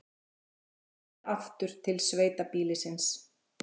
Þeir sneru aftur til sveitabýlisins.